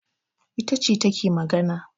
Ita ce take magana